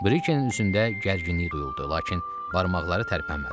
Brikenin üzündə gərginlik duyuldu, lakin barmaqları tərpənmədi.